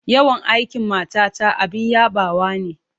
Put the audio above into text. Yawan aikin matata abin yabawa ne.